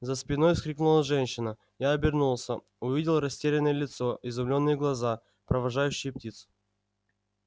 за спиной вскрикнула женщина я обернулся увидел растерянное лицо изумлённые глаза провожающие птиц